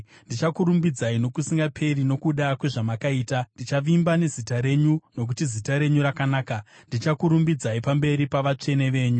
Ndichakurumbidzai, nokusingaperi nokuda kwezvamakaita; ndichavimba nezita renyu, nokuti zita renyu rakanaka. Ndichakurumbidzai pamberi pavatsvene venyu.